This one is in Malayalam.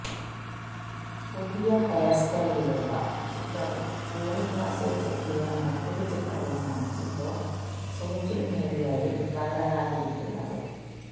പുതിയ ഹെയർ സ്റ്റൈലിലുള്ള ചിത്രവും കൂളിങ് ഗ്ലാസ് വെച്ചെത്തിയ മറ്റൊരു ചിത്രവുമാണ് ഇപ്പോൾ സോഷ്യൽ മീഡിയയിൽ വൈറലായിരിക്കുന്നത്